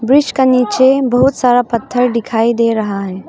Bridge के नीचे बहुत सारा पत्थर दिखाई दे रहा है।